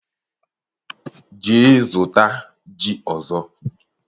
jee zụta ji ọzọ!